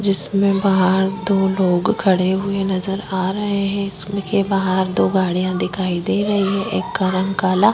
जिसमें बाहर दो लोग खड़े हुए नज़र आ रहे हैं स्कूल के बाहर दो गाड़िया दिखाई दे रही हैं एक गरम काला--